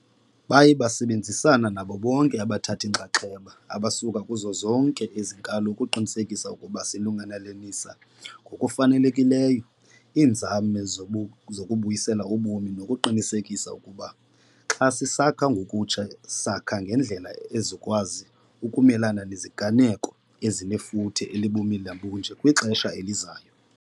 Baye basebenzisana nabo bonke abathathi-nxaxheba abasuka kuzo zonke ezi nkalo ukuqinisekisa ukuba silungelelanisa ngokufanelekileyo iinzame zokubuyisela ubomi nokuqinisekisa ukuba xa sisakha ngokutsha sakha ngendlela ezokwazi ukumelana neziganeko ezinefuthe elibumila bunje kwixesha elizayo.